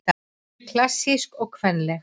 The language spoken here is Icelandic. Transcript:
Klassísk og kvenleg